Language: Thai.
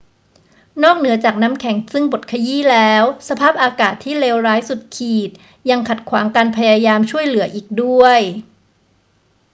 นอกเหนือจากน้ำแข็งซึ่งบดขยี้แล้ว สภาพอากาศที่เลวร้ายสุดขีดยังขัดขวางการพยายามช่วยเหลืออีกด้วย